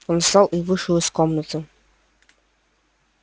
он встал и вышел из комнаты